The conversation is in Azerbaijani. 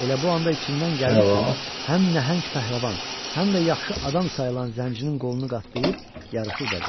Elə bu anda içindən gəldi ki, həm nəhəng pəhləvan, həm də yaxşı adam sayılan zəncirin qolunu qatlayıb yarışı udacaq.